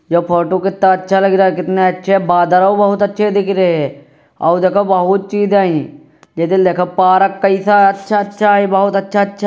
ये फोटु कित्ता अच्छा लग रहा। कितने अच्छे बादल ओ बहुत अच्छे दिख रहे औ देखो बहुत चीज हई। देख पारक कैसा अच्छा अच्छा है। बहुत अच्छा --